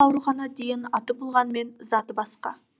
аурухана деген аты болғанмен заты басқа